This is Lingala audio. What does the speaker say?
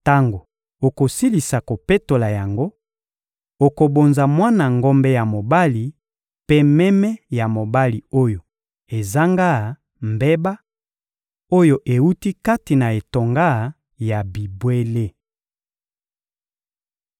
Tango okosilisa kopetola yango, okobonza mwana ngombe ya mobali mpe meme ya mobali oyo ezanga mbeba, oyo ewuti kati na etonga ya bibwele.